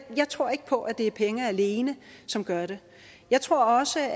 tror ikke på at det er penge alene som gør det jeg tror også